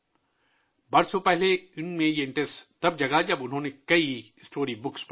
برسوں پہلے ان میں یہ دلچسپی اس وقت پیدا ہوئی ، جب انہوں نے کئی کہانیوں کی کتابیں پڑھیں